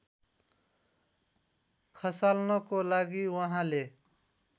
खसाल्नको लागि उहाँले